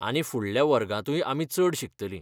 आनी फुडल्या वर्गांतूय आमी चड शिकतलीं.